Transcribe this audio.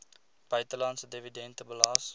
buitelandse dividende belas